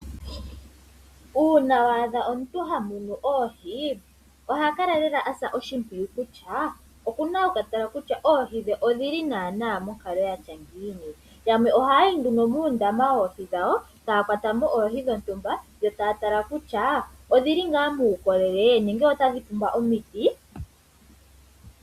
Uuna wa adha omuntu ha munu oohi oha kala lela asa oshimpwiyu kutya oku na oku ka tala kutya odhili monkalo yatya ngiini, ohaya yi nduno muundama woohi dhawo, taya kwata mo oohi dhontumba, yo taya tala kutya odhili ngaa muukolele nenge otadhi pumbwa omiti.